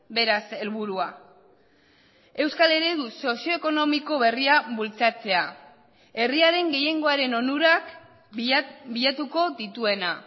beraz helburua euskal eredu sozio ekonomiko berria bultzatzea herriaren gehiengoaren onurak bilatuko dituena